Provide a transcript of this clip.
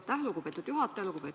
Aitäh, lugupeetud juhataja!